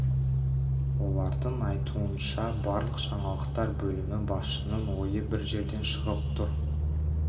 олардың айтуы бойынша барлық жаңалықтар бөлімі басшысының ойы бір жерден шығып тұр